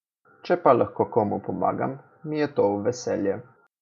Če pa lahko komu pomagam, mi je to v veselje.